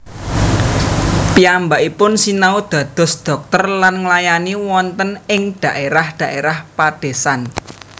Piyambakipun sinau dados dhokter lan nglayani wonten ing dhaérah dhaérah padésan